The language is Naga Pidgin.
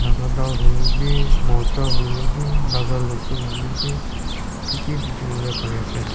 nagadal huile bi murcha huilebi naga losin hoilebi kiki dikhibole pari ase.